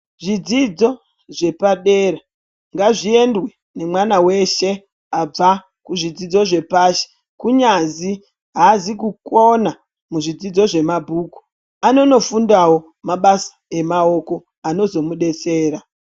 Zvidzidzo zvepa dera ngazvi endwe ne mwana weshe abva ku zvidzidzo zve pashi kunyazi haazi ku kona mu zvidzidzo zve mabhuku anono fundawo mabasa emaoko anozo mudetsera.